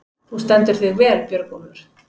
Þú stendur þig vel, Björgólfur!